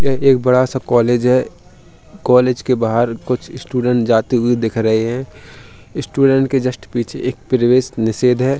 यह एक बड़ा सा कॉलेज है। कॉलेज के बाहर के कुछ स्टूडेंट जाते हुए दिख रहे हैं। स्टूडेंट के जस्ट पीछे एक प्रवेश निषेध है।